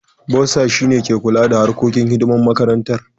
Bossa shi ne ke kula harkokin kuɗaɗan makarantar.